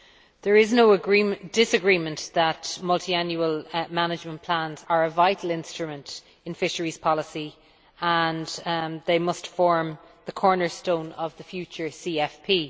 There is no disagreement that multiannual management plans are a vital instrument in fisheries policy and they must form the cornerstone of the future CFP.